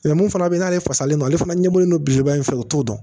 mun fana bɛ yen n'ale fasalen don ale fana ɲɛbɔlen don belebeleba in fɛ o t'o dɔn